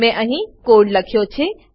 મેં અહી કોડ લખ્યો છે